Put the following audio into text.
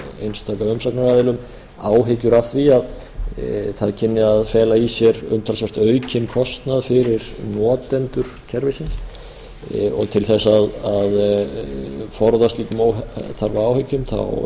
einstaka umsagnaraðilum áhyggjur af því að það kynni að fela í sér umtalsvert aukinn kostnað fyrir notendur kerfisins til þess að forða slíkum óþarfa áhyggjum